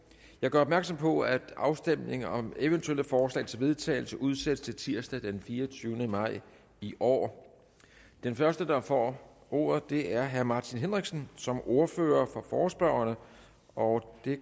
jeg gør opmærksom på at afstemning om eventuelle forslag til vedtagelse udsættes til tirsdag den fireogtyvende maj i år den første der får ordet er herre martin henriksen som ordfører for forespørgerne og det